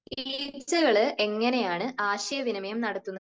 ഈ ഈച്ചകൾ എങ്ങനെയാണ് ആശയവിനിമയം നടത്തുന്നത്?